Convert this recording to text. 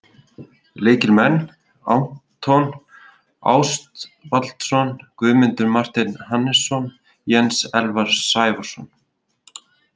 Lykilmenn: Anton Ástvaldsson, Guðmundur Marteinn Hannesson, Jens Elvar Sævarsson,